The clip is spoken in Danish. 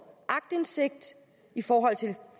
aktindsigt i forhold til